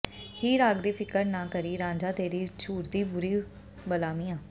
ਹੀਰ ਆਖਦੀ ਫ਼ਿਕਰ ਨਾ ਕਰੀਂ ਰਾਂਝਾ ਤੇਰੀ ਝੂਰਦੀ ਬੁਰੀ ਬਲਾ ਮੀਆਂ